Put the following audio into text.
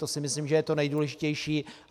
To si myslím, že je to nejdůležitější.